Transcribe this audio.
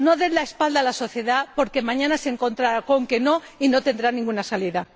No dé la espalda a la sociedad porque mañana se encontrará con un no y no tendrá ninguna salida.